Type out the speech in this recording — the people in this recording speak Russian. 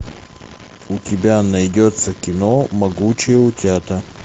у тебя найдется кино могучие утята